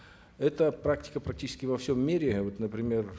эта практика практически во всем мире вот например